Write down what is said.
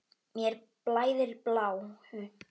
Mér blæðir bláu.